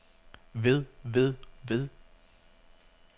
ved ved ved